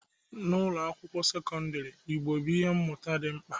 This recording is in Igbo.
N'ụlọ akwụkwọ sekọndrị, Igbo bụ ihe mmụta dị mkpa